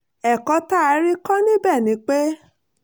ẹ̀kọ́ tá a rí kọ́ níbẹ̀ ni pé